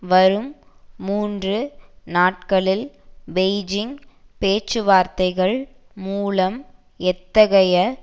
வரும் மூன்று நாட்களில் பெய்ஜிங் பேச்சுவார்த்தைகள் மூலம் எத்தகைய